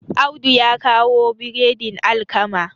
Audu ya kawo biredin alkama